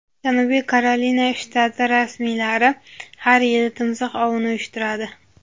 Janubiy Karolina shtati rasmiylari har yili timsoh ovini uyushtiradi.